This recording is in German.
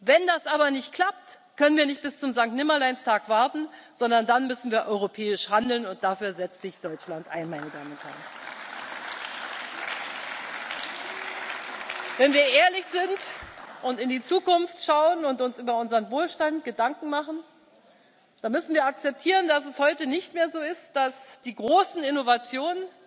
Wenn das aber nicht klappt, können wir nicht bis zum Sankt Nimmerleins Tag warten, sondern dann müssen wir europäisch handeln, und dafür setzt sich Deutschland ein. Wenn wir ehrlich sind und in die Zukunft schauen und uns über unseren Wohlstand Gedanken machen, dann müssen wir akzeptieren, dass es heute nicht mehr so ist, dass die großen Innovationen